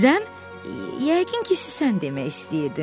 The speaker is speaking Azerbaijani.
Süzən? Yəqin ki, süsən demək istəyirdin.